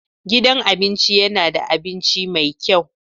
Gidan abinci yana da abinci mai kyau.